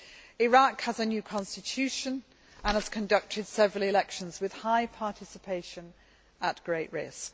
Iraq has a new constitution and has conducted several elections with high participation at great risk.